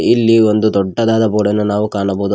ಇಲ್ಲಿ ಒಂದು ದೊಡ್ಡದಾದ ಬೋರ್ಡ್ ಅನ್ನು ನಾವು ಕಾಣಬಹುದು.